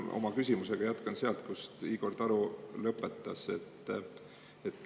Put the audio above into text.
Jätkan oma küsimusega sealt, kus Igor Taro lõpetas.